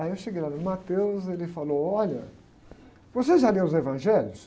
Aí eu cheguei lá no e ele falou, olha, você já leu os evangelhos?